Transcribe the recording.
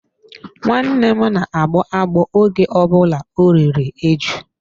Nwanne m na-agbọ agbọ oge ọ bụla o riri eju.